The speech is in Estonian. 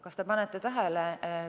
Kas te panete tähele?